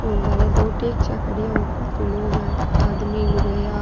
और बारे दो टैक्सियां खड़ी है और काफी लोग है आदमी लुगाइयाँ।